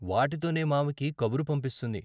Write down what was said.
వాటితోనే మావకి కబురు పంపిస్తుంది.